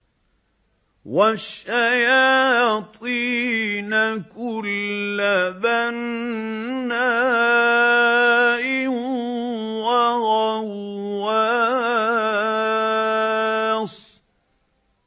وَالشَّيَاطِينَ كُلَّ بَنَّاءٍ وَغَوَّاصٍ